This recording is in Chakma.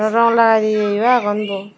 rong lagaide yeyo agon buo.